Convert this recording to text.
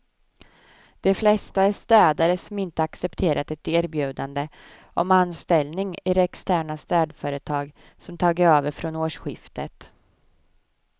De flesta är städare som inte accepterat ett erbjudande om anställning i det externa städföretag som tagit över från årsskiftet.